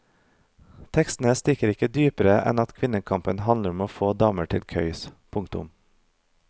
Tekstene stikker ikke dypere enn at kvinnekamp handler om å få damer til køys. punktum